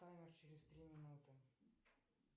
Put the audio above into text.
таймер через три минуты